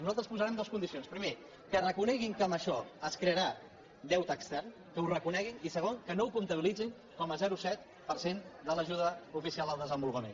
nosaltres hi posarem dues condicions primera que reconeguin que amb això es crearà deute extern que ho reconeguin i segon que no ho comptabilitzin com a zero coma set per cent de l’ajuda oficial al desenvolupament